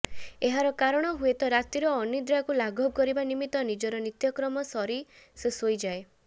ଏହାର କାରଣ ହୁଏତ ରାତିର ଅନିଦ୍ରାକୁ ଲାଘବ କରିବା ନିମିତ୍ତ ନିଜର ନିତ୍ୟକ୍ରମ ସରି ସେ ଶୋଇଯାଏ